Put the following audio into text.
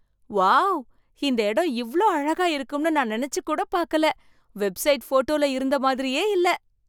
Wow! இந்த இடம் இவ்வளவு அழகா இருக்கும்னு நான் நினைச்சு கூட பார்க்கல. வெப்சைட் ஃபோட்டோல இருந்த மாதிரியே இல்ல.